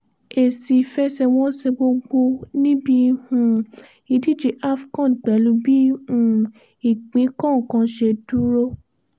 èsì ìfẹsẹ̀wọnsẹ̀ gbogbo níbi um ìdíje afcon pẹ̀lú bí um ìpín kọ̀ọ̀kan ṣe dúró